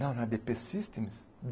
Não, na á dê pê Systems?